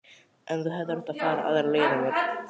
En þú hefðir átt að fara aðra leið að mér.